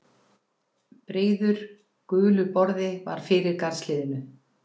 Breiður, gulur borði var fyrir garðshliðinu.